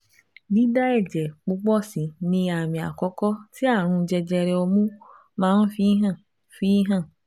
Dída ẹ̀jẹ̀ púpọ̀ sì ni àmì àkọ́kọ́ tí ààrùn jẹjẹrẹ ọmú máa ń fi hàn fi hàn